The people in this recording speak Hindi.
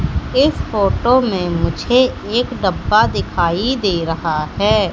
इस फोटो मे मुझे एक डब्बा दिखाई दे रहा है।